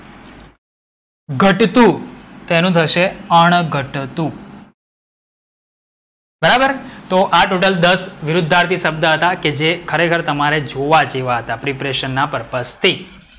ઘટતું તો એનું થશે અણઘટતું. બરાબર તો આ ટોટલ દસ વિરુદ્ધાર્થી શબ્દ હતા કે જે ખરેખર તમારે જોવાજેવા હતા preparation purpose થી.